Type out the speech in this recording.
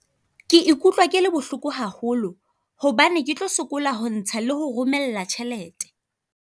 Ke ikutlwa ke le bohloko haholo hobane ke tlo sokola ho ntsha, le ho romella tjhelete.